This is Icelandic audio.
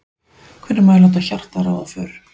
Hvenær má ég láta hjartað ráða för?